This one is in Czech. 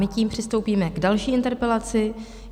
My tím přistoupíme k další interpelaci.